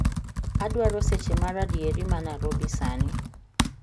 Adwaro seche maradieri manarobi sani